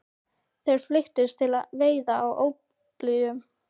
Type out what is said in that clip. Þeir flykktust til veiða á óblíðum